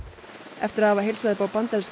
eftir að hafa heilsað upp á bandaríska